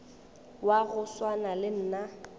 wa go swana le nna